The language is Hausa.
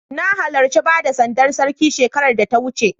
Na halarci bada sandar Sarki shekarar da ta wuce.